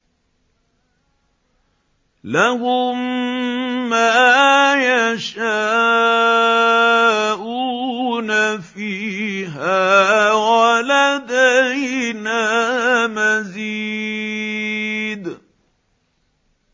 لَهُم مَّا يَشَاءُونَ فِيهَا وَلَدَيْنَا مَزِيدٌ